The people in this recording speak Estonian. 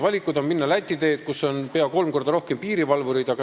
Võib minna Läti teed, kus on peaaegu kolm korda rohkem piirivalvureid.